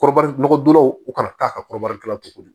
Kɔrɔba nɔgɔyaw u kana taa ka kɔrɔbaya cogo di